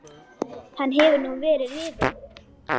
Hann hefur nú verið rifinn.